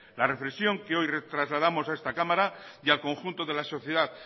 la reflexión que hoy trasladamos a esta cámara y al conjunto de la sociedad